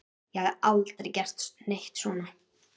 Ég hef aldrei gert neitt svona.